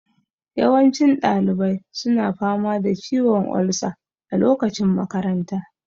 Yawancin ɗalibai suna fama da ciwon olsa a lokacin makanta